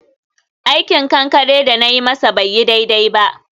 aikin kankare da na yi masa bai yi daidai ba.